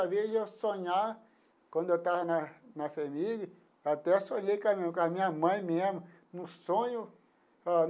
A vez de eu sonhar, quando eu estava na na FHEMIG, até sonhei com a com a minha mãe mesmo no sonho.